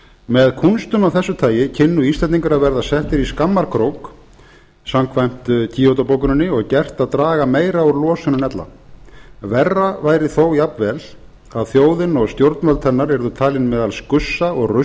með kúnstum af þessu tagi kynnu íslendingar að verða settir í skammarkrók samkvæmt kyoto bókuninni og gert að draga meira úr losun en ella verra væri þó jafnvel að þjóðin og stjórnvöld hennar yrðu talin meðal skussa og